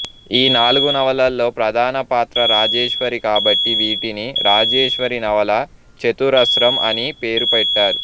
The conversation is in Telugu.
ఈ నాలుగు నవలలలో ప్రధాన పాత్ర రాజేశ్వరి కాబట్టి వీటిని రాజేశ్వరి నవలా చతురస్రం అని పేరు పెట్టారు